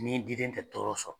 Ni diden tɛ tɔɔrɔ sɔrɔ